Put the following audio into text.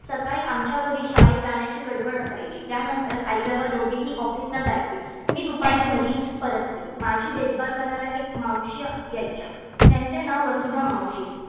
सकाळी आमच्या घरी शाळेत जाण्याची गडबड असायची. त्यानंतर आई बाबा दोघेही office ला जायचे. मी दुपारी घरी परतते माझी देखभाल करायला एक मावशी यायच्या त्यांचे नाव वसुधा मावशी